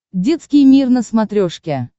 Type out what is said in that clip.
детский мир на смотрешке